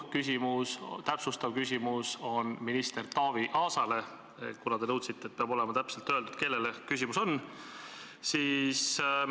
Ka minu täpsustav küsimus on minister Taavi Aasale – te nõudsite, et peab olema öeldud, kellele küsimus on.